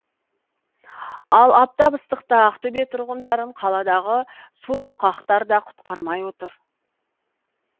ал аптап ыстықта ақтөбе тұрғындарын қаладағы субұрқақтар да құтқармай отыр